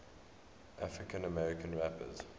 african american rappers